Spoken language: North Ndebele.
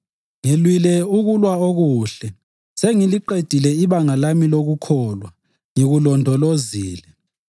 Ngilwile ukulwa okuhle, sengiliqedile ibanga lami lokukholwa ngikulondolozile.